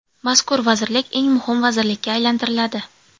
Mazkur vazirlik eng muhim vazirlikka aylantiriladi.